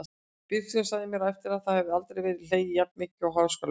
Bíóstjórinn sagði mér á eftir að það hefði aldrei verið hlegið jafn mikið í Háskólabíói.